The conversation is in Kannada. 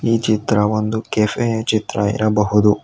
ಈ ಚಿತ್ರವೊಂದು ಕೆಫೆ ಚಿತ್ರ ಇರಬಹುದು.